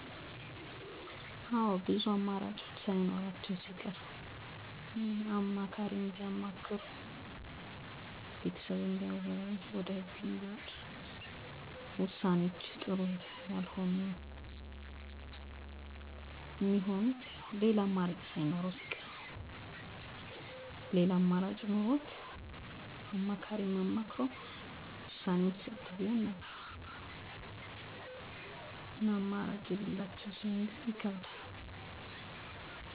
ብዙ ሰዎች ውሳኔ ማድረግን አንዳንዴ ቀላል፣ አንዳንዴ ግን ከባድ እንደሚያገኙት ያጋጥማቸዋል። ቀላል የሚሆነው ብዙ ነገሮች ግልጽ ሲሆኑ፣ ምርጫው በሕይወት ላይ ትልቅ ተፅዕኖ ሲያልቅ ወይም ቀድሞ ልምድ ሲኖር ነው። ከባድ የሚሆነው ግን ውጤቶቹ ያልተገመቱ ሲሆኑ፣ ብዙ አማራጮች ሲኖሩ ወይም “ትክክለኛው ምንድን ነው?” የሚለው ግልጽ ሲሆን አይደለም ጊዜ ነው። ውሳኔ ከማድረግ በፊት የሚኖሩ ውጤቶችን ለመገመገም፣ ብዙዎች፦ አጭር ጊዜ እና ረጅም ጊዜ ውጤቶችን ይለያያሉ “ከፍተኛ አደጋ ምን ነው? ትርፉ ምን ነው?” ብለው ይመዝናሉ ስሜታቸውን እና